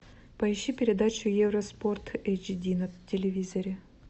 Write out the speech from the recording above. поищи передачу евроспорт эйч ди на телевизоре